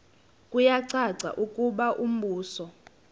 kuyacaca ukuba umbuso